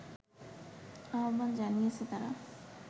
আহবান জানিয়েছে তারা